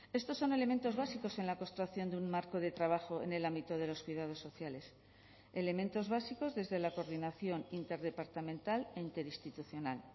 estos son elementos básicos en la construcción de un marco de trabajo en el ámbito de los cuidados sociales elementos básicos desde la coordinación interdepartamental e interinstitucional